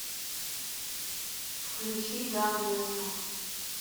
включи ганвеста